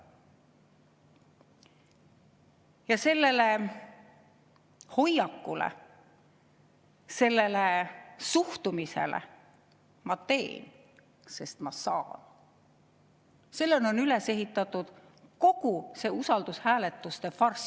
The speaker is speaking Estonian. Ja sellele hoiakule, suhtumisele "Ma teen, sest ma saan" on üles ehitatud kogu see usaldushääletuste farss.